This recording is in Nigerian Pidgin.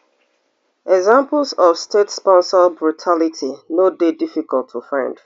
examples of statesponsored brutality no dey difficult to find